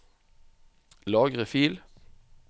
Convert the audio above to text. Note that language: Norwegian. Lagre fil